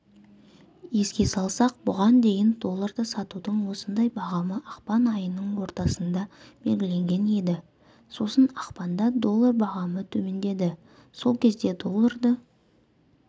еске салсақ бұған дейін долларды сатудың осындай бағамы ақпан айының ортасында белгіленген еді сосын ақпанда доллар бағамы төмендеді сол кезде долларды